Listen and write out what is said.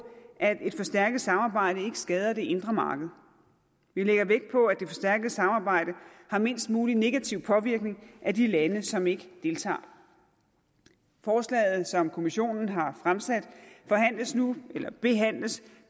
at et forstærket samarbejde skader det indre marked vi lægger vægt på at det forstærkede samarbejde har mindst mulig negativ påvirkning af de lande som ikke deltager forslaget som kommissionen har fremsat behandles nu